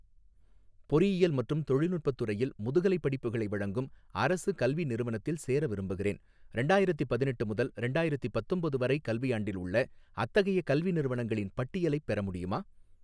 பொறியியல் மற்றும் தொழில்நுட்பத் துறையில் முதுகலைப் படிப்புகளை வழங்கும் அரசு கல்வி நிறுவனத்தில் சேர விரும்புகிறேன், ரெண்டாயிரத்தி பதினெட்டு முதல் ரெண்டாயிரத்தி பத்தொம்போது வரை கல்வியாண்டில் உள்ள அத்தகைய கல்வி நிறுவனங்களின் பட்டியலைப் பெற முடியுமா?